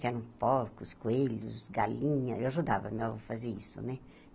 Que eram porcos, coelhos, galinha, eu ajudava meu avô a fazer isso, né?